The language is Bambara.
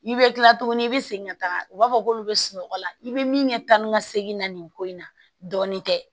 I bɛ kila tuguni i bɛ segin ka taga u b'a fɔ k'olu bɛ sunɔgɔ la i bɛ min kɛ tan ni ka segin na nin ko in na dɔɔnin tɛ